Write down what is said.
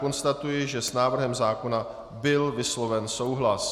Konstatuji, že s návrhem zákona byl vysloven souhlas.